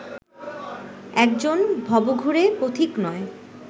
একজন ভবঘুরে পথিক নয়